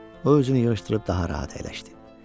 O özünü yığışdırıb daha rahat əyləşdi.